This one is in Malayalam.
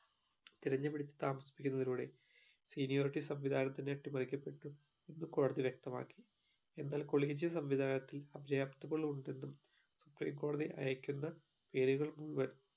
തിരഞ്ഞു പിടിച്ചു താമസിപ്പിക്കുന്നതിലൂടെ seniority സംവിധാനത്തിനെ അട്ടിമറിക്കപ്പെട്ടു എന്ന് കോടതി വ്യക്തമാക്കി എന്നാൽ collegium സംവിധാനത്തിൽ അഭിജയാപ്തകൾ ഉണ്ടെന്നും supreme കോടതി അയക്കുന്ന പേരുകൾ മുഴുവൻ